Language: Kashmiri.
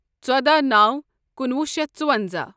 ژۄداہ نو کُنوُہ شیتھ ژُونزاہ